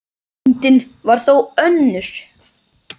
Reyndin var þó önnur.